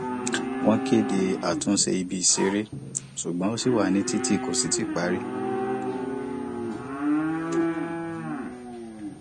wọn kéde àtúnṣe ibi ìṣeré ṣùgbọn ó ṣi wà nítiti kò sì tíì parí